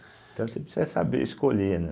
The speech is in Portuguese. Então você precisa saber escolher, né?